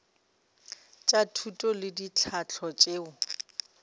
tša thuto le tlhahlo tšeo